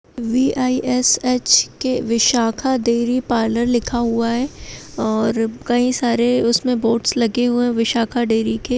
We I S H K Vishakha dairy parlour लिखा हुआ है और कई सारे उसमे बोर्ड्स लगे हुए है विशाखा डेयरी के।